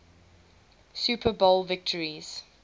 super bowl victories